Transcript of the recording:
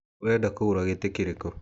Ũrenda kũgũra gĩtĩ kĩrĩkũ.